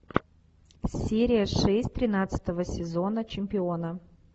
серия шесть тринадцатого сезона чемпиона